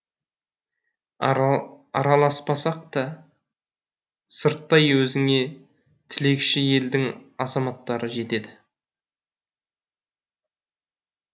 араласпасақ та сырттай өзіңе тілекші елдің азаматтары жетеді